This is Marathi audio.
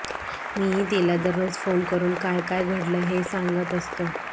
मीही तिला दररोज फोन करून काय काय घडलं हे सांगत असतो